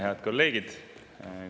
Head kolleegid!